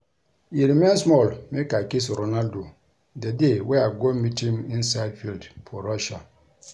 E remain small make I kiss Ronaldo the dey wey I go meet him inside field for Russia